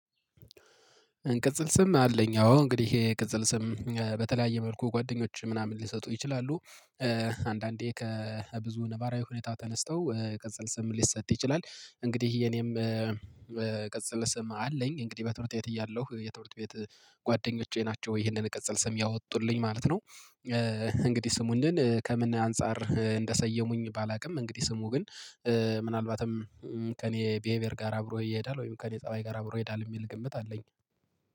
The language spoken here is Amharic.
እንቅጽል ስም አለኝ አዎ እንግዲህ ይሄ ቅጽል ስም በተለያየ መልኩ ጓደኞች ምናምን ሊሰጡ ይችላሉ። አንዳንዴ ከብዙ ነባራዊ ሁኔታ ተነስተው ቅጸል ስም ሊሰጥ ይችላል። እንግዲህ የኔም ቅጽል ስም አለኝ እንግዲህ በትምርት ቤት እያለሁ የትምርት ቤት ጓደኞቼ ናቸው ይሄንን ቅጽል ስም ያወጡልኝ ማለት ነው። እንግዲህ ስሙን ከምን አንፃር እንደሰየሙኝ ባላውቅም እንግዲህ ስሙ ግን ምናልባትም ከእኔ ቢሄቨር ጋር አብሮ እየሄዳል ወይም ከእኔ ፀባይ ጋር አብሮ እየሄዳል የሚል ግምት አለኝ።